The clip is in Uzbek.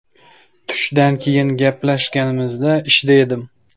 Tushdan keyin gaplashganimizda ishda edim.